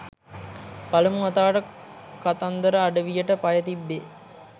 පළමු වතාවට කතන්දර අඩවියට පය තිබ්බේ